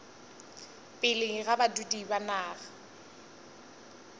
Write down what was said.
pele ga badudi ba naga